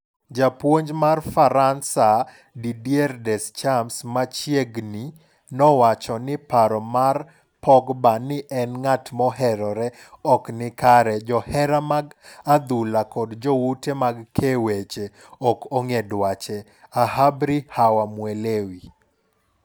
Japuonj mar Faransa Didier Deschamps machieg ni nowacho ni paro mar Pogba ni en ng'at moherore ok ni kare johera mag adhula kod joute mag kee weche ok ong'e dwache. ahabri hawamuelewi.